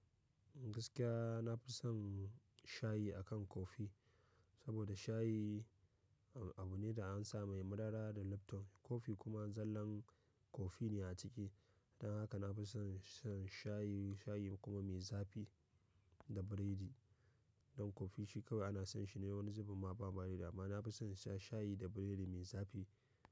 Gaskiya nafi son shayi akan kofi saboda shayi abune da ansa mai madara da lipton, coffee kuma zallan coffee ne a ciki. Dan haka nafi son shan shayi, shayi kuma mai zafi da biredi. Dan coffee shi kawai ana san shine wani zubinma bama da dama. Nafi son insha shayi da biredi mai zafi.